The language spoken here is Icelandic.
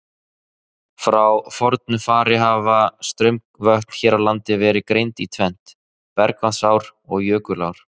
Frá fornu fari hafa straumvötn hér á landi verið greind í tvennt, bergvatnsár og jökulár.